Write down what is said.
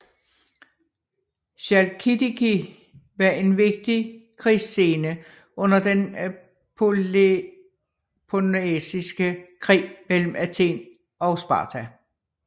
Chalkidiki var en vigtig krigsscene under den peloponnesiske krig mellem Athen og Sparta